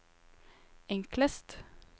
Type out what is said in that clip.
enklest